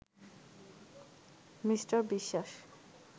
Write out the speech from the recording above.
Me. Biswas